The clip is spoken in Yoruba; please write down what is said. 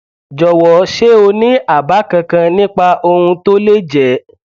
jọwọ ṣé o ní àbá kankan nípa ohun tó lè jẹ